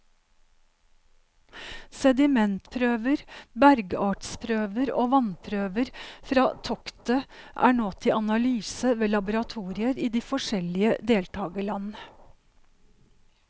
Sedimentprøver, bergartsprøver og vannprøver fra toktet er nå til analyse ved laboratorier i de forskjellige deltagerland.